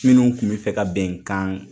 Minnu kun be fɛ ka bɛnkan